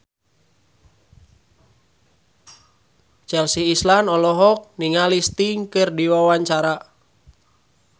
Chelsea Islan olohok ningali Sting keur diwawancara